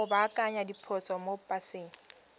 go baakanya diphoso mo paseng